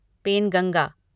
Penganga